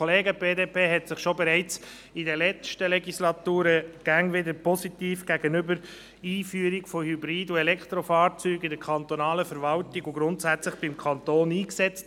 Die BDP hat sich bereits in der letzten Legislatur stets positiv für die Einführung von Hybrid- und Elektrofahrzeugen in der kantonalen Verwaltung sowie grundsätzlich beim Kanton eingesetzt.